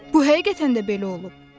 Bu həqiqətən də belə olub.